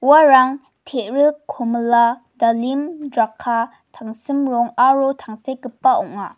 uarang te·rik komila dalim draka tangsim rong aro tangsekgipa ong·a.